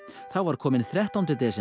þá var kominn þrettánda desember